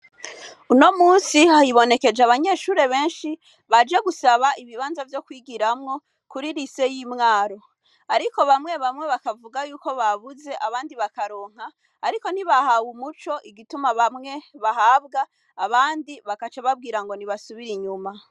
Uno musi hibonekeje abanyeshure benshi baje gusaba ibibanza vyo kwigiramwo kuri lycée yi Mwaro. Ariko bamwe bamwe bakavuga yuko babuze abandi bakaronka, ariko ntibahawe umuco igituma bamwe bahabwa abandi bagaca bababwira ngo nibasubire inyuma.